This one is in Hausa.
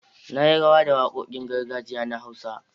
Na yi rawa da wakokin gargajiya na Hausa.